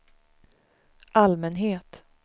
allmänhet